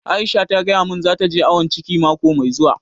Aisha ta gaya mun za ta je awon ciki mako mai zuwa